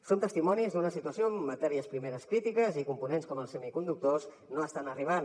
som testimonis d’una situació amb matèries primeres crítiques i components com els semiconductors que no estan arribant